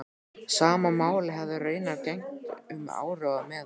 Sama máli hefði raunar gegnt um áróður meðal